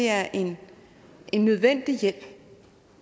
er en nødvendig hjælp